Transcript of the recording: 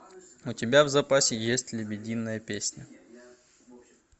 у тебя в запасе есть лебединая песня